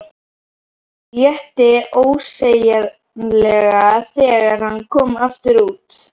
Létti ósegjanlega þegar hann kom aftur út.